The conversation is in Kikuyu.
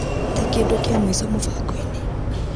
Tee kĩndũ kĩa mũico mũbango-inĩ .